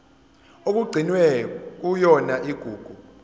okugcinwe kuyona igugu